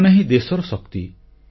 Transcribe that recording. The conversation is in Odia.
ଏମାନେ ହିଁ ଦେଶର ଶକ୍ତି